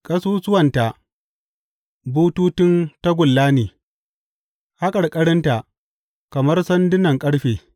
Ƙasusuwanta bututun tagulla ne, haƙarƙarinta kamar sandunan ƙarfe.